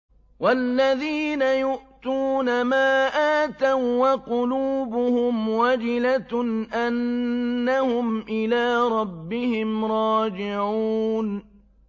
وَالَّذِينَ يُؤْتُونَ مَا آتَوا وَّقُلُوبُهُمْ وَجِلَةٌ أَنَّهُمْ إِلَىٰ رَبِّهِمْ رَاجِعُونَ